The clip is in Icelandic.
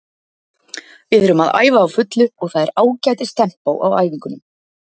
Við erum að æfa á fullu og það er ágætis tempó á æfingunum.